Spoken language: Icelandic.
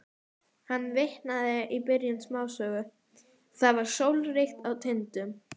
spyr Svenni varfærnislega þegar þeir eru komnir út úr húsinu.